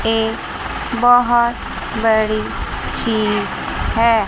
एक बहोत बड़ी चीज़ है।